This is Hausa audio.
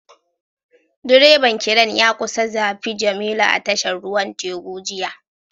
Direban Crane ya kusa zafi jemilu a tashar ruwan teku jiya